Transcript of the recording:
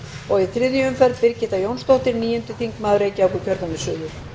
og í þriðju umferð birgitta jónsdóttir níundi þingmaður reykjavíkurkjördæmis suður